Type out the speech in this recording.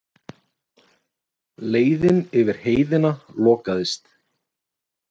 Leiðin yfir Heiðina lokaðist.